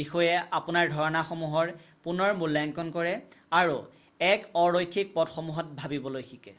বিষয়ে আপোনাৰ ধাৰণাসমূহৰ পুনৰ মূল্যাংকণ কৰে আৰু এক অ-ৰৈখিক পথসমূহত ভাবিবলৈ শিকে৷